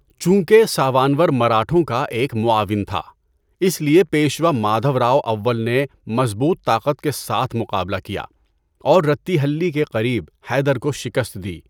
چونکہ ساوانور مراٹھوں کا ایک معاون تھا، اس لیے پیشوا مادھوراؤ اول نے مضبوط طاقت کے ساتھ مقابلہ کیا، اور رتّی ہلّی کے قریب حیدر کو شکست دی۔